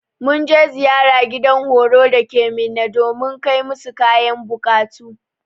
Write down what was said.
Mun je ziyara gidan horo dake minna domin kai musu kayan bukatu.